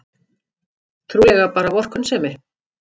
Trúlega bara vorkunnsemi.